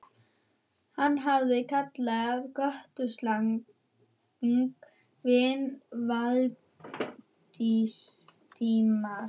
Hann hafði kallað götusalann vin Valdimars.